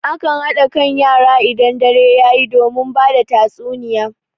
A kan haɗa kan yara idan dare yayi domin bada tatsuniya.